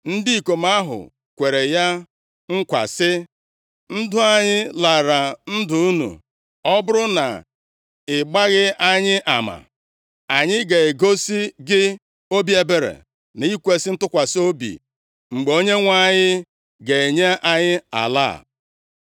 Ndị ikom ahụ kwere ya nkwa sị, “Ndụ anyị lara ndụ unu. Ọ bụrụ na ị gbaghị anyị ama, anyị ga-egosi gị obi ebere na ikwesi ntụkwasị obi mgbe Onyenwe anyị ga-enye anyị ala a.”